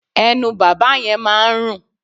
Ẹnu bàbá yẹn máa ń rùn.